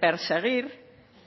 perseguir